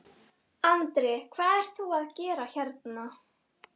Andri: Hvað ert þú að gera hérna?